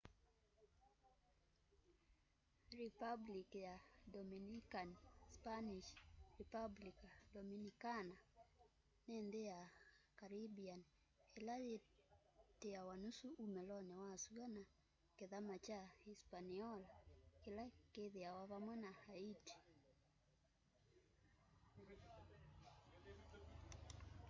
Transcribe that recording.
republic ya dominican spanish: republica dominicana ni nthi ya caribbean ila yitiawa nusu umuloni wa sua na kithama kya hispaniola kila kithiiwa vamwe na haiti